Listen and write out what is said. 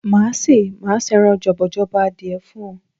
Máa ṣé, màá ṣé ẹran jọ̀bọ̀jọ̀bọ̀ adìẹ fún ọ.